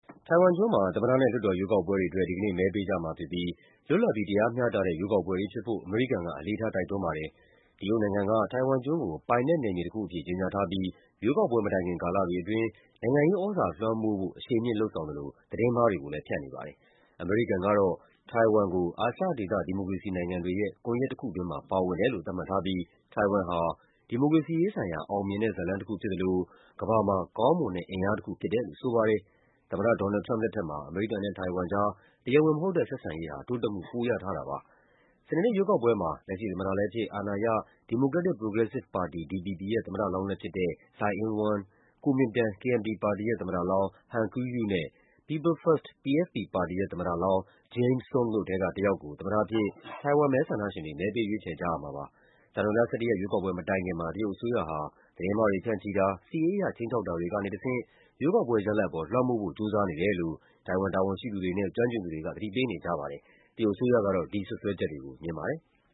တိုင်ဝမ်ကျွန်းမှာ သမ္မတနဲ့ လွှတ်တော်ရွေးကောက်ပွဲတွေအတွက် ဒီကနေ့ စနေနေ့ မဲပေးကြမှာဖြစ်ပြီး လွတ်လပ်ပြီး တရားမျှတ တဲ့ ရွေးကောက်ပွဲတွေဖြစ်ဖို့ အမေရိကန်က အလေးထား တိုက်တွန်းပါတယ်။ တရုတ်နိုင်ငံက တိုင်ဝမ်ကျွန်းကို ပိုင်နက်နက်မြေတခုအဖြစ် ကြေညာထားပြီး ရွေးကောက်ပွဲမတိုင်ခင် ကာလတွေအတွင်း နိုင်ငံရေးသြဇာလွှမ်းမိုးဖို့ အရှိန်မြှင့်လုပ်ဆောင်သလို သတင်းမှားတွေကိုလည်း ဖြန့်နေပါတယ်။ အမေရိကန်ကတော့ တိုင်ဝမ်ကို အာရှဒေသ ဒီမိုကရေစီနိုင်တွေရဲ့ ကွန်ယက်တခုတွင်းမှာ ပါဝင်တယ်လို့ သတ်မှတ်ထားပြီး တိုင်ဝမ်ဟာ “ဒီမိုကရေစီရေးဆိုင်ရာ အောင်မြင်တဲ့ဇာတ်လမ်းတခုဖြစ်သလို ကမ္ဘာမှာ ကောင်းမွန်တဲ့အင်အားတခု” ဖြစ်တယ်လို့ ဆိုပါတယ်။ သမ္မတ ဒေါ်နယ်လ်ဒ် ထရမ့်ပ် လက်ထက်မှာ အမေရိကန်နဲ့တိုင်ဝမ်ကြား တရားဝင်မဟုတ်တဲ့ ဆက်ဆံရေးဟာ တိုးတက်မှု ပိုရထားတာပါ။ စနေနေ့ရွေးကောက်ပွဲမှာ လက်ရှိသမ္မတလည်းဖြစ်၊ အာဏာရ Democratic Progressive Party (DPP) ရဲ့ သမ္မတလောင်းလည်း ဖြစ်သူ Tsai Ing-wen ၊ Kuomingtan (KMT) ပါတီရဲ့ သမ္မတလောင်း Han Kuo-yu နဲ့ People First (PFP) ပါတီရဲ့ သမ္မတ လောင်း James Soong တို့ထဲကတယောက်ကို သမ္မတအဖြစ် တိုင်ဝမ်မဲဆန္ဒရှင်တွေ မဲပေးရွေးချယ်ကြရမှာပါ။ ဇန်နဝါရီလ ၁၁ ရက် ရွေးကောက်ပွဲမတိုင်ခင်မှာ တရုတ်အစိုးရဟာ သတင်းမှားတွေ ဖြန့်ချိတာ၊ စစ်ရေးအရ ခြိမ်းခြောက်တာတွေ ကနေတဆင့် ရွေးကောက်ပွဲရလဒ်ပေါ် လွှမ်းမိုးဖို့ ကြိုးစားနေတယ်လို့ တိုင်ဝမ်တာဝန်ရှိသူတွေနဲ့ ကျွမ်းကျင်သူတွေက သတိပေး နေကြပါတယ်။ တရုတ်အစိုးရကတော့ ဒီစွပ်စွဲချက်တွေကို ငြင်းပါတယ်။